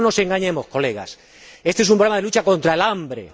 No nos engañemos, colegas éste es un programa de lucha contra el hambre.